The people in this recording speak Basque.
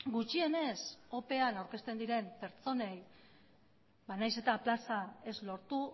gutxienez opean aurkezten diren pertsonei nahiz eta plaza ez lortu